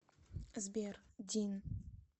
сбер дин